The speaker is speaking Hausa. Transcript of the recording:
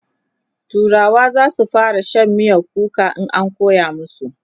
turawa zasu fara Shan miyan kuka in an koya masu